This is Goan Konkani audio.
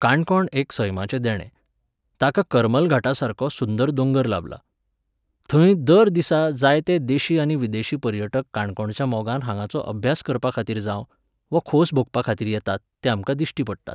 काणकोण एक सैमाचें देणें. ताका करमल घाटा सारको सुंदर दोंगर लाबला. थंय दर दिसा जायते देशी आनी विदेशी पर्यटक काणकोणच्या मोगान हांगाचो अभ्यास करपाखातीर जावं, वो खोस भोगपाखातीर येतात ते आमकां दिश्टी पडटात.